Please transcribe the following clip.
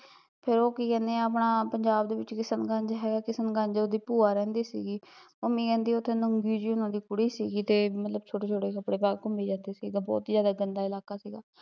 ਫੇਰ ਕੀ ਕਹਿੰਦੇ ਐ ਉਹ ਆਪਣਾ ਪੰਜਾਬ ਦੇ ਵਿੱਚ ਕਿਸਮਗੰਜ ਐ ਕਿਸਮਗੰਜ ਉਹਦੀ ਭੂਆ ਰਹਿੰਦੀ ਸੀਗੀ ਮੰਮੀ ਕਹਿੰਦੀ ਓਥੇ ਨੰਗੀ ਜਹੀ ਉਹਨਾਂ ਦੀ ਕੁੜੀ ਸੀਗੀ ਤੇ ਮਤਲਬ ਛੋਟੇ ਛੋਟੇ ਕੱਪੜੇ ਪਾਕੇ ਘੁਮੀ ਜਾਂਦੀ ਸੀ ਮਤਲਬ ਬਹੁਤ ਜਿਆਦਾ ਗੰਦਾ ਇਲਾਕਾ ਸੀਗਾ